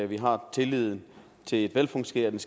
vi har tilliden til et velfungerende